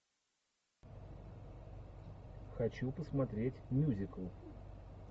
хочу посмотреть мюзикл